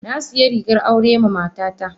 Na sayi rigar aure ma mata ta.